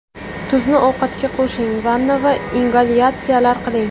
Tuzni ovqatga qo‘shing, vanna va ingalyatsiyalar qiling.